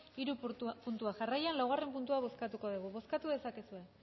hiru puntuak jarraian laugarren puntua bozkatuko dugu bozkatu dezakezue